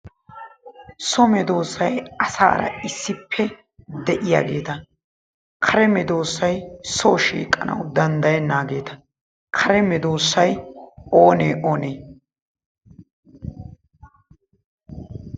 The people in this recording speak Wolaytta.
So meddoosay asaara issippe de'iyageeta kare meddoosay soo shiiqanawu danddayeenaageeta kare meddoosay oonee oonee?